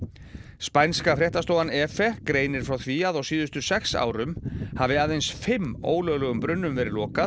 spænska fréttastofan greinir frá því að á síðustu sex árum hafi aðeins fimm ólöglegum brunnum verið lokað